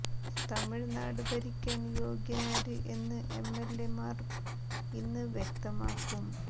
തമിഴ്നാട് ഭരിക്കാൻ യോഗ്യനാര് എന്ന് M L എമാർ ഇന്ന് വ്യക്തമാക്കും